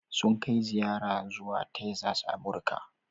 Sun kai ziyara zuwa Texas a Amurka.